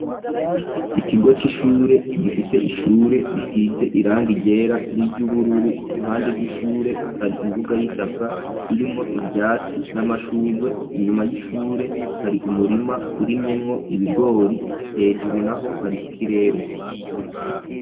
Ikigo cishure gifise ishure risize irangi ryera n'iry'ubururu iruhande rw'ishure hari imbuga y'itaka irimwo ivyatsi n'amashurwe inyuma y'ishure hari umurima urimyemwo ibigori hejuru naho hari ikirere.